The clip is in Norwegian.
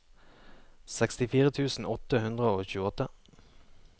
sekstifire tusen åtte hundre og tjueåtte